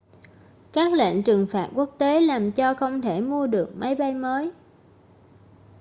các lệnh trừng phạt quốc tế làm cho không thể mua được máy bay mới